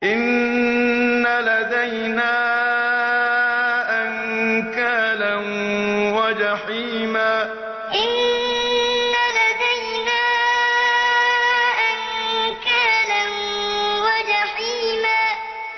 إِنَّ لَدَيْنَا أَنكَالًا وَجَحِيمًا إِنَّ لَدَيْنَا أَنكَالًا وَجَحِيمًا